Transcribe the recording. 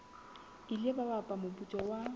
ile ba hapa moputso wa